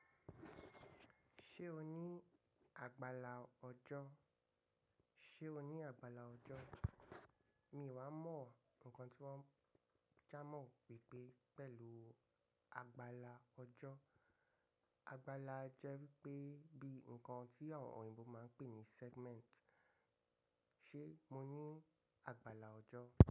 Ṣé o ní àgbàlá ọjọ́? Ṣé o ní àgbàlá ọjọ́? Mi ò wà mọ́ ọ̀ nǹkan tí wọ́n ń jámọ̀ pè pé pẹ̀lú àgbàlá ọjọ́. Àgbàlá jẹ́ pé bíi nǹkan tí àwọn òyìnbó máa ń pè ní segment. Ṣé mo ní àgbàlá ọjọ́?